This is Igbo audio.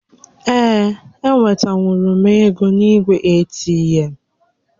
Ee, e wetanwuru m égo n'igwe ATM